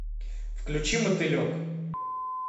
включи мотылек